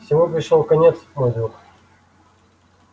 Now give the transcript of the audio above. всему пришёл конец мой друг